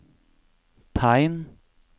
tegn